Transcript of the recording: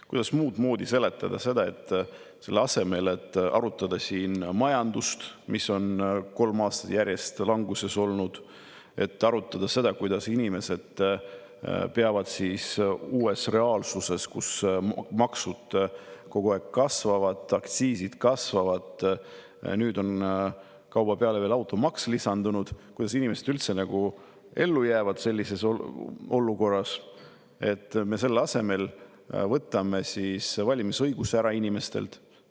Kuidas muud moodi seletada seda, et selle asemel, et arutada siin, miks majandus on kolm aastat järjest languses olnud, et arutada seda, kuidas inimesed saaksid üldse ellu jääda uues reaalsuses, kui maksud kogu aeg kasvavad, aktsiisid kasvavad ja nüüd on kauba peale veel lisandunud automaks, me võtame inimestelt ära valimisõiguse?